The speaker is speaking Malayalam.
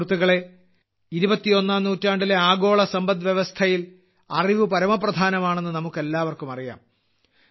സുഹൃത്തുക്കളേ ഇരുപത്തിയൊന്നാം നൂറ്റാണ്ടിലെ ആഗോള സമ്പദ്വ്യവസ്ഥയിൽ അറിവ് പരമപ്രധാനമാണെന്ന് നമുക്കെല്ലാവർക്കും അറിയാം